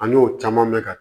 An y'o caman bɛ ka